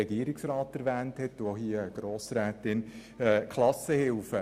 Ein Stichwort sind die Klassenhilfen.